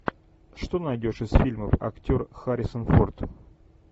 что найдешь из фильмов актер харрисон форд